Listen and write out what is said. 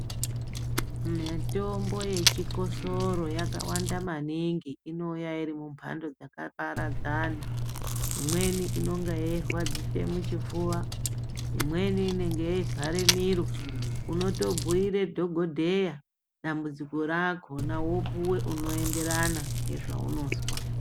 Mitombo yechikosoro yakawanda maningi inouya iri mumhando dzakaparadzana. Imweni inonga yeirwadzise muchipfuva, imweni inenge yeivhare miro unotobhuire dhogodheya dambudziko rakona vopuva unoenderana ngezvaunozwa.